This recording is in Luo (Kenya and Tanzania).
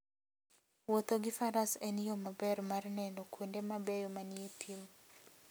Wuotho gi Faras en yo maber mar neno kuonde mabeyo manie thim.